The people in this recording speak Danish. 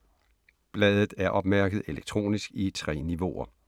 Bladet er opmærket elektronisk i 3 niveauer.